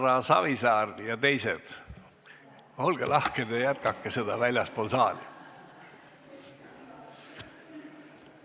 Härra Savisaar ja teised, olge lahked ja jätkake väljaspool saali!